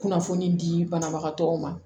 Kunnafoni di banabagatɔw ma